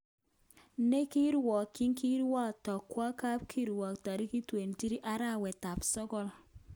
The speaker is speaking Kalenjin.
Nekirwokyin kewekto kwo kapkirwok torikit 23arawet tab sokol.